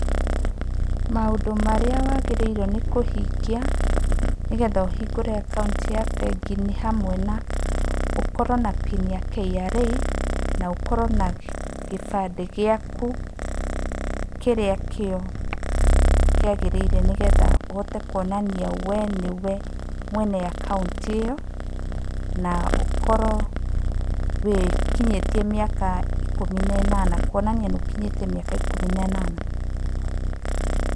Maũndũ marĩa wagĩrĩirwo nĩ kũhingĩa nĩgetha ũhingũre akaũnti ya bengĩ nĩ hamwe na ũkorwo na PIN ya KRA, na ũkorwo na gĩbandĩ gĩaku, kĩrĩa kĩo kĩagĩrĩire nĩgetha ũhote kuonania wee nĩwe mwene akaũnti ĩyo, na ũkorwo wĩkinyĩtie mĩaka ikũmi na ĩnana, kwonania nĩ ũkinyĩtie mĩaka ikumi na ĩnana.